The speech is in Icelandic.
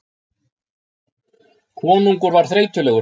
Konungur var þreytulegur.